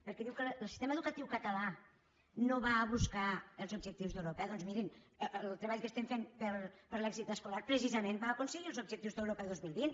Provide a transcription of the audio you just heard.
perquè diu que el sistema educatiu català no va a buscar els objectius d’europa doncs mirin el treball que estem fent per a l’èxit escolar precisament va aconseguir els objectius d’europa dos mil vint